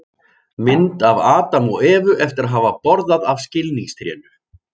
Mynd af Adam og Evu eftir að hafa borðað af skilningstrénu.